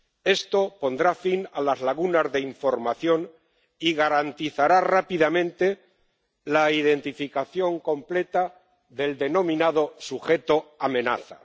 Esto pondrá fin a las lagunas de información y garantizará rápidamente la identificación completa del denominado sujeto amenaza.